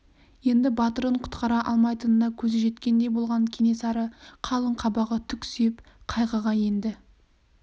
енді батырын құтқара алмайтынына көзі жеткендей болған кенесары қалың қабағы түксиіп қайғыға енді